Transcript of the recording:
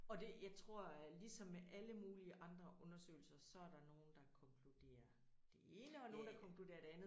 Og det jeg tror at ligesom med alle mulige andre undersøgelser så er der nogen der er konkluderer det ene og nogen der konkluderer det andet